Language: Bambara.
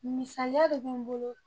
Misaliya de be n bolo